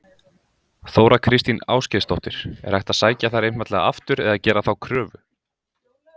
Þóra Kristín Ásgeirsdóttir: Er hægt að sækja þær einfaldlega aftur eða gera þá kröfu?